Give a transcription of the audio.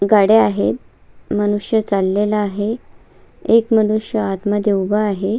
गाड्या आहेत मनुष्य चाललेला आहे एक मनुष्य आतमध्ये उभा आहे.